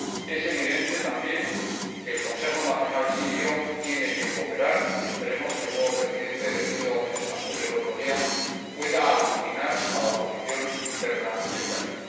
Es evidente también que el Consejo Nacional Sirio tiene que cooperar, y esperemos que su nuevo presidente, elegido en Estambul el otro día, pueda aglutinar a la oposición interna y externa.